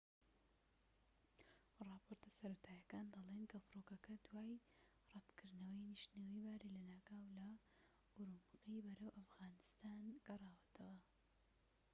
ڕاپۆرتەسەرەتاییەکان دەڵێن کە فڕۆکەکە دوای ڕەتکردنەوەی نیشتنەوەی باری لەناکاو لە ئورومقی بەرەو ئەفغانستان گەڕاوەتەوە